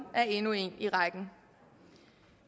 er endnu en i rækken